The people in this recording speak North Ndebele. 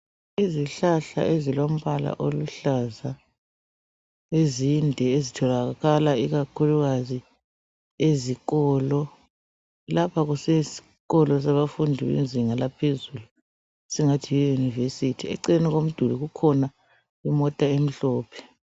Izihlahla ezilombala oluhlaza ezinde ezitholakala ikakhulukazi ezikolo. Lapha kusesikolo sabafundi bezinga laphezulu esingathi yi university . Eceleni komduli kukhona imota emhlophe.